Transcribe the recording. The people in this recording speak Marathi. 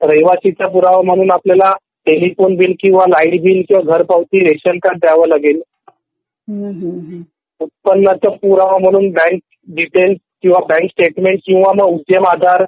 रहिवासी चा पुरावा म्हणून टेलिफोन बिल, लाईट बिल , घर पावती किंवा रेशन कार्ड द्यावं लागेल उत्पन्नाचं पुरावा म्हणून बँक डिटेल्स किंवा बँक स्टेटमेंट किंवा उद्यम आधार